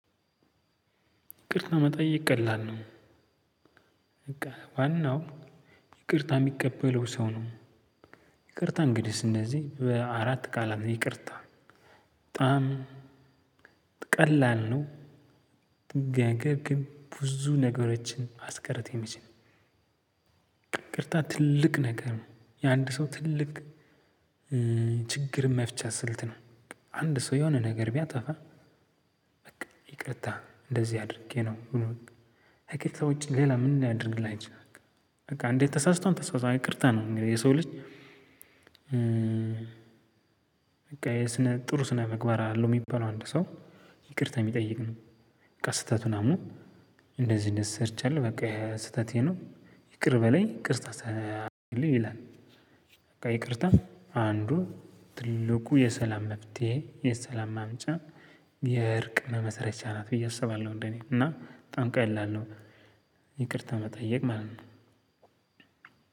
ይቅርታ መጠየቅ ቀላል ነው። በቃ ዋናው ይቅርታ የሚቀበለው ሰው ነው። ይቅርታ እንግዲህስ እነዚህ በአራት ቃላት ነው ይቅርታ በጣም ቀላል ነው። ነገር ግን ብዙ ነገሮችን ማስቀረት የሚችል። ይቅርታ ትልቅ ነገር ነው የአንድ ሰው ትልቅ መፍቻ ስልት ነው። አንድ ሰው የሆነ ነገር ቢያጠፋ። በቃ ይቅርታ እንደዚህ አድርጌ ነው ብሎ ከይቅርታ ውጪ ሌላ ምን ሊያደርግልህ አይችልም። በቃ እንዴት ተሳስቷል ተሳስቷል ይቅርታ ነው እንግዲህ የሰው ልጅ። በቃ የስነ ጥሩ ስነ ምግባር አለው የሚባለው አንድ ሰው ይቅርታ የሚጠይቅ ነው። ስህተቱን አምኖ እንደዚህ እንደዚህ ሰርቻለሁ በቃ ስህተቴ ነው ይቅር በለይ ይቅርታ አድርግልኝ ይላል። ይቅርታ አንዱ ትልቁ የሰላም መፍትሄ የሰላም ማምጫ የእርቅና መሰረቻ ናት ብዬ አስባለሁ። እንደኔ እና በጣም ቀላል ነው። ይቅርታ መጠየቅ ማለት ነው።